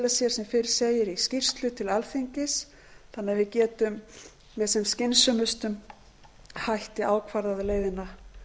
sér sem fyrr segir í skýrslu til alþingis þannig að við getum með sem skynsömustum hætti ákvarðað leiðina